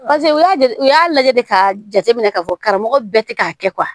Paseke u y'a de u y'a lajɛ de k'a jateminɛ k'a fɔ karamɔgɔ bɛɛ tɛ k'a kɛ